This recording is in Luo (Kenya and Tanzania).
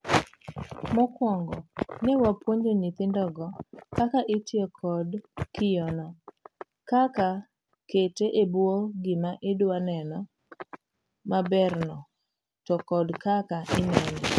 Mokuongo.ne wapuonjo nnyithindogo kaka itiyo kod kiyono, kaka kete ebwo gima idwaa neno maberno to kod kaka inene.